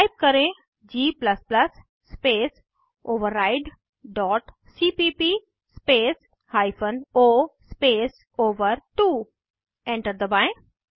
type करें g space override dot cpp space hyphen o space ओवर2 enter दबाएं